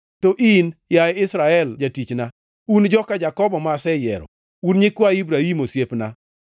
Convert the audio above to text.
“To in, yaye Israel jatichna, un joka Jakobo ma aseyiero, un nyikwa Ibrahim osiepna,